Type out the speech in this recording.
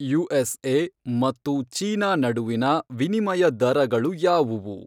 USA ಮತ್ತು China ನಡುವಿನ ವಿನಿಮಯ ದರಗಳು ಯಾವುವು